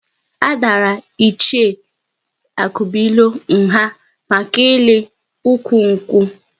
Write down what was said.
A dàrà Ichie Akubuilo nha maka ịli ụkwụ nkwu